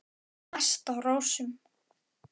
Mest á rósum.